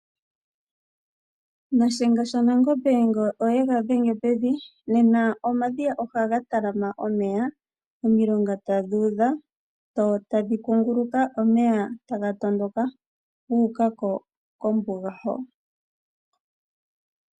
Nashenga shanangombe ngele oye ga dhenge pevi, omadhiya ohaga talama omeya nosho woo omomilonga ndhoka hadhuudha etadhi kunguluka omeya nguka kombunga.